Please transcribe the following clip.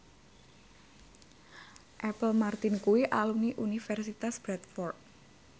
Apple Martin kuwi alumni Universitas Bradford